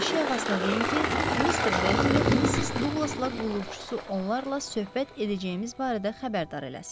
Eşik ağasına deyin ki, mister Berker, missis Duqlasla qulluqçusu onlarla söhbət edəcəyimiz barədə xəbərdar eləsin.